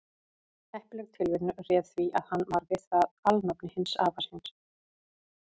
heppileg tilviljun réði því að hann varð við það alnafni hins afa síns